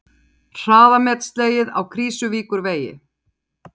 Hraðamet slegið á Krýsuvíkurvegi